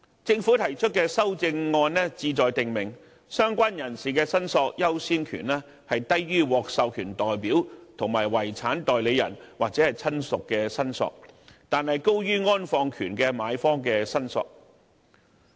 政府提出的修正案旨在訂明相關人士的申索優先權低於獲授權代表、遺產代理人或親屬的申索，但高於安放權的買方的申索。